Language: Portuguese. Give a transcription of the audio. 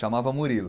Chamava Murilo.